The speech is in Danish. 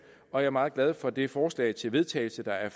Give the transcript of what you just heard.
og jeg er meget glad for det forslag til vedtagelse der er